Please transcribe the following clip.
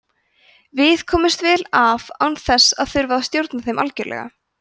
við komumst vel af án þess að þurfa að stjórna þeim algjörlega